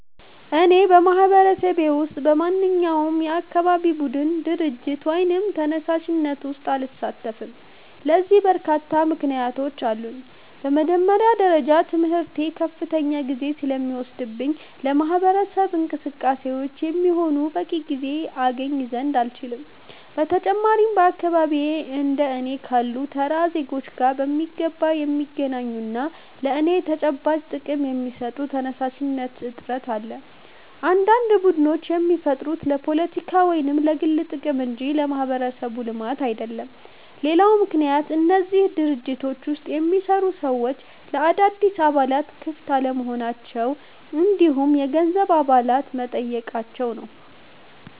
እኔ በማህበረሰቤ ውስጥ በማንኛውም የአካባቢ ቡድን፣ ድርጅት ወይም ተነሳሽነት ውስጥ አልሳተፍም። ለዚህ በርካታ ምክንያቶች አሉኝ። በመጀመሪያ ደረጃ ትምህርቴ ከፍተኛ ጊዜ ስለሚወስድብኝ ለማህበረሰብ እንቅስቃሴ የሚሆን በቂ ጊዜ አገኝ ዘንድ አልችልም። በተጨማሪም በአካባቢዬ እንደ እኔ ካሉ ተራ ዜጎች ጋር በሚገባ የሚገናኙና ለእኛ ተጨባጭ ጥቅም የሚሰጡ ተነሳሽነቶች እጥረት አለ፤ አንዳንድ ቡድኖች የሚፈጠሩት ለፖለቲካ ወይም ለግል ጥቅም እንጂ ለማህበረሰብ ልማት አይደለም። ሌላው ምክንያት በእነዚህ ድርጅቶች ውስጥ የሚሰሩ ሰዎች ለአዳዲስ አባላት ክፍት አለመሆናቸው እንዲሁም የገንዘብ አባልነት መጠየቃቸው ነው።